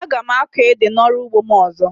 Aga m akọ ede na ọrụ ugbo m ọzọ